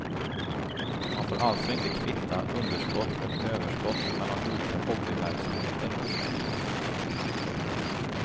Man får alltså inte kvitta underskott och överskott mellan olika hobbyverksamheter.